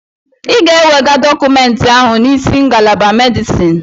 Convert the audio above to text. Ị ga-ewega dọkụmentị ahụ n'isi ngalaba Medisin!